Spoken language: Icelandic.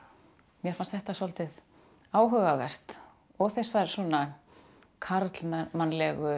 mér fannst þetta svolítið áhugavert og þessar svona karlmannlegu